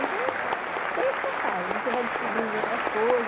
Então, tem essa passagem, você vai descobrindo outras coisas.